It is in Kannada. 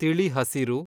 ತಿಳಿಿ ಹಸಿರು